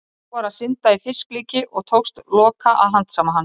Sá var að synda í fisklíki og tókst Loka að handsama hann.